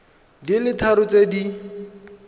di le tharo tse di